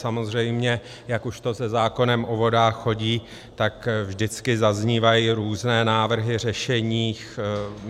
Samozřejmě, jak už to se zákonem o vodách chodí, tak vždycky zaznívají různé návrhy řešení.